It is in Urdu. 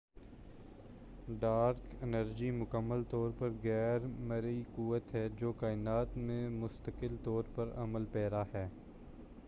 ڈارک انرجی مکمل طور پر غیر مرئی قوت ہے جو کائنات میں مستقل طور پر عمل پیرا ہے